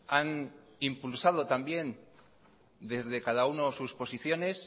han impulsado también desde cada uno sus posiciones